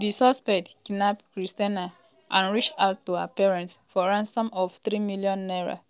di suspect kidnap christianah and reach out to her parents for ransom of three million naira ($1800)